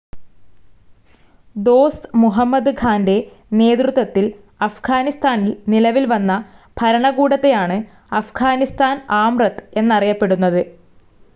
ഡോസ്റ്റ്‌ മുഹമ്മദ് ഖാൻ്റെ നേതൃത്വത്തിൽ അഫ്ഗാനിസ്ഥാനിൽ നിലവിൽ വന്ന ഭരണകൂടത്തെയാണ് അഫ്ഗാനിസ്ഥാൻ ആംറത്ത് എന്നറിയപ്പെടുന്നത്.